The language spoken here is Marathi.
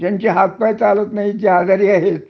ज्यांचे हातपाय चालत नाही आजारी आहेत